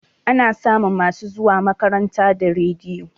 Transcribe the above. Ana samun masu zuwa makaranta da rediyo